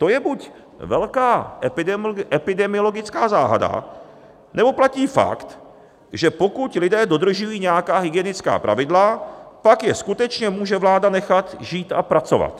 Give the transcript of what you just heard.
To je buď velká epidemiologická záhada, nebo platí fakt, že pokud lidé dodržují nějaká hygienická pravidla, pak je skutečně může vláda nechat žít a pracovat.